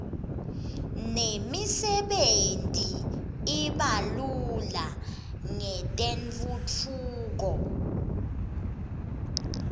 nemisebenti i iba lula ngetentfutfuko